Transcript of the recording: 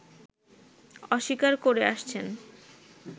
অস্বীকার করে আসছেন